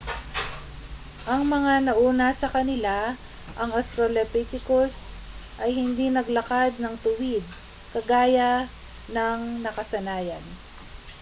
ang mga nauna sa kanila ang australopithecus ay hindi naglakad ng tuwid kagaya ng nakasanayan